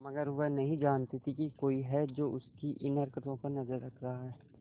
मगर वह नहीं जानती थी कोई है जो उसकी इन हरकतों पर नजर रख रहा है